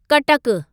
कटक